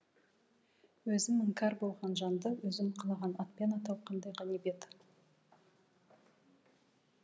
өзім іңкәр болған жанды өзім қалаған атпен атау қандай ғанибет